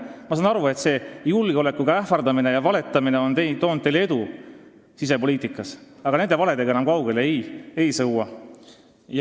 Ma saan aru, et see julgeolekuohtudega ähvardamine ja valetamine on toonud teile edu sisepoliitikas, aga nende valedega enam kaugele ei sõua.